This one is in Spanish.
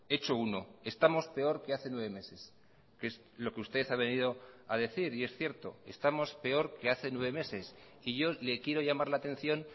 hecho uno estamos peor que hace nueve meses que es lo que usted ha venido a decir y es cierto estamos peor que hace nueve meses y yo le quiero llamar la atención